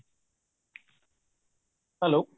hello